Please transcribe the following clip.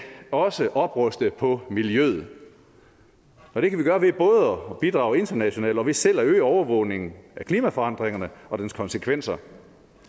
også opruste på miljøet og det kan vi gøre ved både at bidrage internationalt og ved selv at øge overvågningen af klimaforandringerne og deres konsekvenser